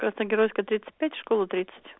красногеройская тридцать пять школа тридцать